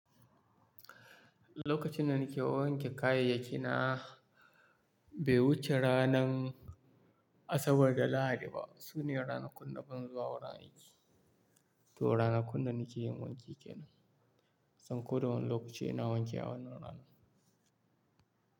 Lokacin da nike wanke kayayyaki na, bai wuce ranan Asabar da Lahadi ba. Sune ranakun na ban zuwa wurin aiki, to ranakun da nike yin wanki kenan. Kusan ko da wane lokaci ina wanki a wannan rana?